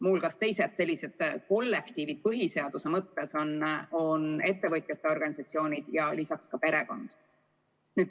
Muud sellised kollektiivid põhiseaduse mõttes on ettevõtjate organisatsioonid ja ka perekond.